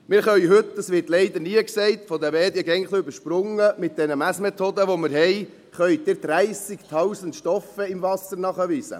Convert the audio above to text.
Wir können heute – dies wird leider nie gesagt und von den Medien immer ein bisschen übersprungen – mit den Messmethoden, die wir haben, 30 000 Stoffe im Wasser nachweisen;